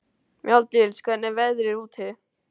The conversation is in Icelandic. Mjalldís, hvernig er veðrið úti?